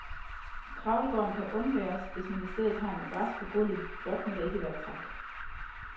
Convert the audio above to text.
Kravlegården kan undværes, hvis man i stedet har en madras på gulvet, blot må der ikke være træk.